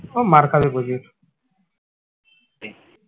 ও মার খাবে প্রচুর